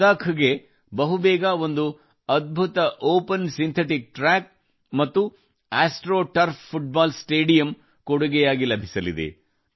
ಲಡಾಖ್ ಗೆ ಬಹುಬೇಗ ಒಂದು ಅದ್ಭುತ ಒಪನ್ ಸಿಂಥೆಟಿಕ್ ಟ್ರ್ಯಾಕ್ ಮತ್ತು ಆಸ್ಟ್ರೊ ಟರ್ಫ್ ಫುಟ್ಬಾಲ್ ಸ್ಟೇಡಿಯಂ ಕೊಡುಗೆ ಲಭಿಸಲಿದೆ